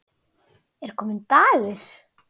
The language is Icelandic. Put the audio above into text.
Er kominn dagur?